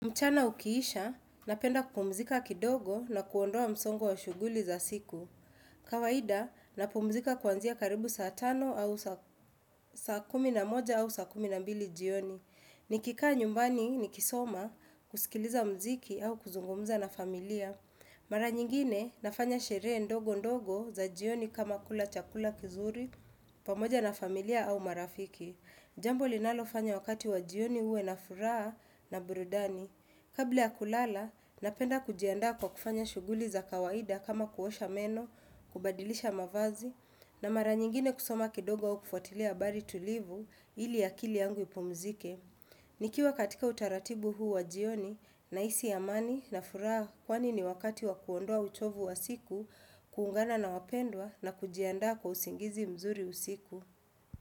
Mchana ukiisha, napenda kupumzika kidogo na kuondoa msongo wa shughuli za siku. Kawaida, napumzika kuanzia karibu saa tano au saa kumi na moja au saa kumi na mbili jioni. Nikikaa nyumbani nikisoma, kusikiliza muziki au kuzungumza na familia. Mara nyingine, nafanya sherehe ndogo ndogo za jioni kama kula chakula kizuri, pamoja na familia au marafiki. Jambo linalofanya wakati wa jioni huwe na furaha na burudani. Kabla ya kulala, napenda kujiandaa kwa kufanya shughuli za kawaida kama kuosha meno, kubadilisha mavazi, na mara nyingine kusoma kidogo au kufuatilia habari tulivu ili akili yangu ipumzike. Nikiwa katika utaratibu huu wa jioni, nahisi amani na furaha kwani ni wakati wa kuondoa uchovu wa siku, kuungana na wapendwa na kujiandaa kwa usingizi mzuri usiku.